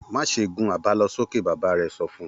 Má ṣe gun àbálọsókè! Bàbá rẹ̀ sọ fún un.